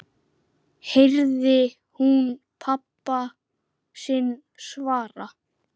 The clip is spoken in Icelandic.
heyrði hún pabba sinn svara.